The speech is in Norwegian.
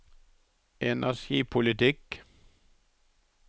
energipolitikk